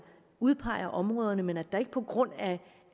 udpeger områderne men at der ikke på grund af